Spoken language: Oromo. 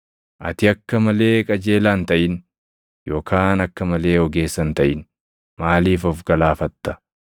Ati akka malee qajeelaa hin taʼin; yookaan akka malee ogeessa hin taʼin; maaliif of galaafatta?